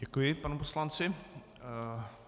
Děkuji panu poslanci.